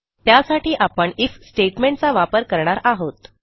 त्यासाठी आपण IF statement चा वापर करणार आहोत